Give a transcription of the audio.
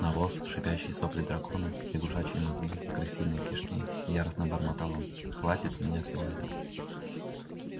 навоз шипящие сопли дракона лягушачьи мозги крысиные кишки яростно бормотал он хватит с меня всего этого